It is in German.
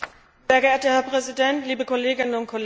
Herr Präsident, liebe Kolleginnen und Kollegen!